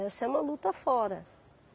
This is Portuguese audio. Essa é uma luta fora.